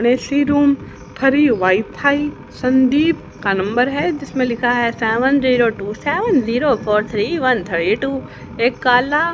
AC room free wifi Sandeep का number है जिसमें लिखा है seven zero two seven zero four three one three two एक कला--